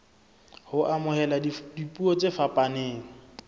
ho amohela dipuo tse fapaneng